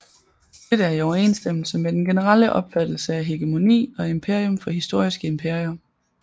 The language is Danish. Dette er i overensstemmelse med den generelle opfattelse af hegemoni og imperium for historiske imperier